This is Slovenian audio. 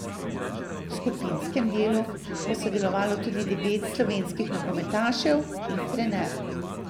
V skupinskem delu bo sodelovalo tudi devet slovenskih nogometašev in trener.